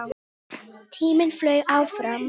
Tíminn flaug áfram.